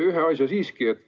Ühe asja siiski ütlen.